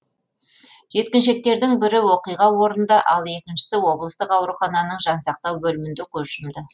жеткіншектердің бірі оқиға орнында ал екіншісі облыстық аурухананың жансақтау бөлімінде көз жұмды